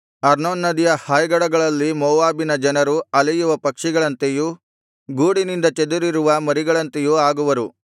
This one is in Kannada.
ಅರ್ನೋನ್ ನದಿಯ ಹಾಯ್ಗಡಗಳಲ್ಲಿ ಮೋವಾಬಿನ ಜನರು ಅಲೆಯುವ ಪಕ್ಷಿಗಳಂತೆಯೂ ಗೂಡಿನಿಂದ ಚದುರಿರುವ ಮರಿಗಳಂತೆಯೂ ಆಗುವರು